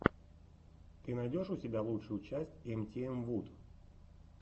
ты найдешь у себя лучшую часть эмтиэмвуд